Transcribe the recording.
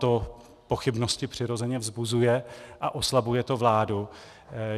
To pochybnosti přirozeně vzbuzuje a oslabuje to vládu.